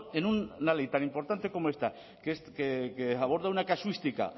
en una ley tan importante como esta que aborda una casuística